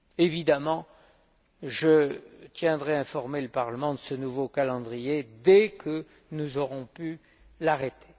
Évidemment, je tiendrai informé le Parlement de ce nouveau calendrier dès que nous aurons pu l'arrêter.